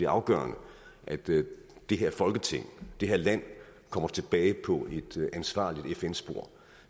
afgørende at det det her folketing det her land kommer tilbage på et ansvarligt fn spor